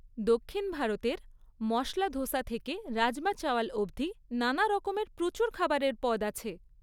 দক্ষিণ ভারতের মশলা ধোসা থেকে রাজমা চাওয়াল অবধি নানারকমের প্রচুর খাবারের পদ আছে।